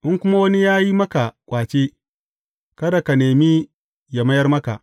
In kuma wani ya yi maka ƙwace, kada ka nema yă mayar maka.